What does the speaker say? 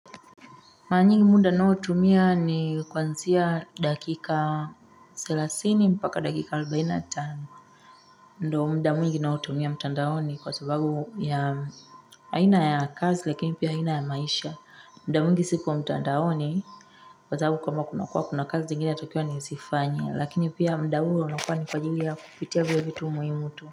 Maanyingi munda nao tumia ni kwanzia dakika selasini mpaka dakika arobaini na tani ndo muda mwingi ninao tumia mtandaoni kwa sababu ya haina ya kazi lakini pia haina ya maisha muda mwingi sikuwa mtandaoni kwa sababu kama kunakua kuna kazi ngini ya tokyo ni usifanya lakini pia mda huu unakua ni kwa ajili ya kupitia biebitu muhimu tu.